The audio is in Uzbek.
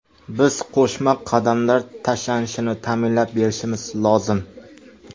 Biz qo‘shma qadamlar tashlanishini ta’minlab berishimiz lozim.